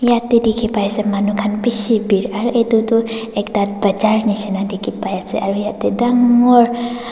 yatae dikhipaiase manu khan bishi biri aru edu tu ekta bazar nishi na dikhi paiase aro yatae dangor--